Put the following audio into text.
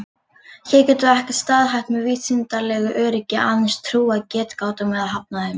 Hér getum við ekkert staðhæft með vísindalegu öryggi, aðeins trúað getgátum eða hafnað þeim.